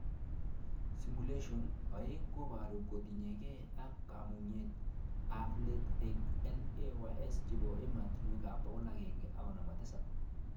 Simulaton 2,koboru kotinyke ak kamagunet ab let eng LAYS chebo ematinwek 157